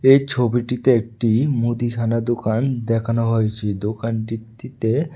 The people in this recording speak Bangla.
এই ছবিটিতে একটি মুদিখানা দোকান দেখানো হয়েছে দোকানটিতে--